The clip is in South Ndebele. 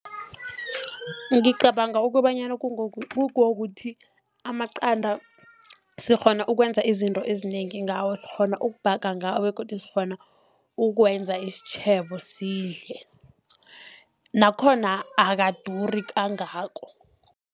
Ngicabanga ukobanyana kungokuthi amaqanda sikghona ukwenza izinto ezinengi ngawo, sikghona ukubhaga ngawo begodu sikghona ukuwenza isitjhebo sidle. Nakhona akaduri kangako.